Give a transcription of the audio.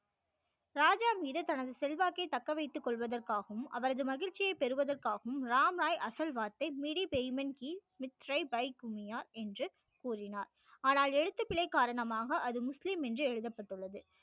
ராஜா மீது தனது செல்வாக்கை தக்க வைத்து கொள்வதற்காகவும் அவரது மகிழ்ச்சியை பெறுவதற்காகவும் ராம் ராய் அசல் வார்த்தை துனியா என்று கூறினார் ஆனால் எழுத்துப்பிழை காரணமாக அது முஸ்லிம் என்று எழுதப்பட்டுள்ளது